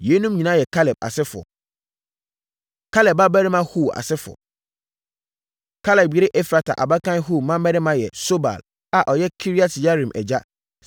Yeinom nyinaa yɛ Kaleb asefoɔ. Kaleb Babarima Hur Asefoɔ Kaleb yere Efrata abakan Hur mmammarima yɛ Sobal a ɔyɛ Kiriat-Yearim agya